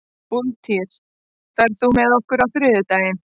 Úlftýr, ferð þú með okkur á þriðjudaginn?